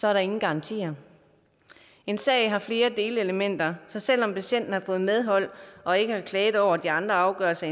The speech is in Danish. er der ingen garantier en sag har flere delelementer så selv om patienten har fået medhold og ikke har klaget over de andre afgørelser